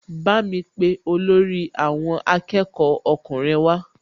Bámi pe olórí àwọn akẹ́kọ̀ọ́ ọkùnrin wá